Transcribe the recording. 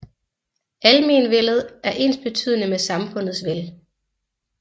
Almenvellet er ensbetydende med samfundets vel